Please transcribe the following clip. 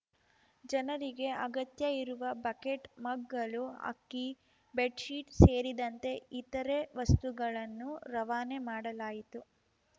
ಜನರಿಗೆ ಅಗತ್ಯ ಇರುವ ಬಕೆಟ್‌ ಮಗ್‌ಗಳು ಅಕ್ಕಿ ಬೆಡ್‌ಶೀಟ್‌ ಸೇರಿದಂತೆ ಇತರೆ ವಸ್ತುಗಳನ್ನು ರವಾನೆ ಮಾಡಲಾಯಿತು